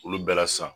Olu bɛɛ la sisan